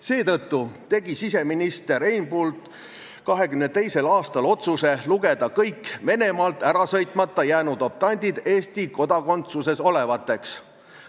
Seetõttu tegi siseminister Einbund 1922. aastal otsuse lugeda kõik optandid, kes ei saanud Venemaalt ära sõita, Eesti kodakondsuses olevateks.